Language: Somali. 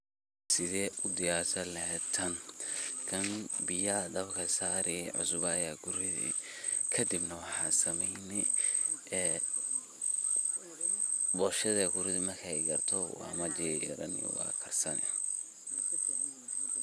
Sethe u diyarsanlaheet taan kan biyaha dabkibsaari cusbaa Aya kurithi kabdina waxasameyni ee booshada Aya kurithi marki kartah wamajorani wakarsani.